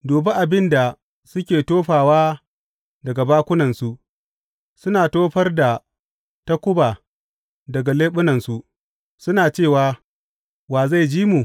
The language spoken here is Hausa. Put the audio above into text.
Dubi abin da suke tofawa daga bakunansu, suna tofar da takuba daga leɓunansu, suna cewa, Wa zai ji mu?